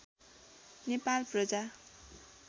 Nepal Praja